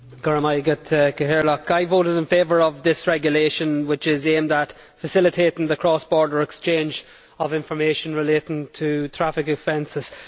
Mr President, I voted in favour of this regulation which is aimed at facilitating the cross border exchange of information relating to traffic offences.